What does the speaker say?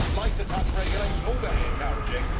Lighter touch regulation all very encouraging.